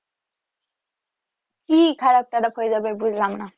কি খারাপ টারাপ হয়ে যাবে বুঝলাম না